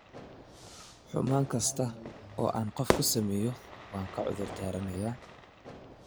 Xumaan kasta oo aan qof ku sameeyo waan ka cudur daaranayaa.